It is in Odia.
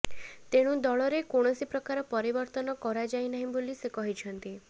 ତେଣୁ ଦଳରେ କୌଣସି ପ୍ରକାର ପରିବର୍ତ୍ତନ କରାଯାଇନାହିଁ ବୋଲି ସେ କହିଛନ୍ତି